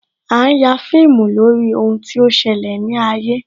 A ń ya fíìmù lórí ohun tí ó ṣẹlẹ̀ ní ayé